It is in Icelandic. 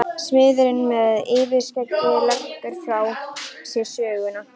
Smiðurinn með yfirskeggið leggur frá sér sögina.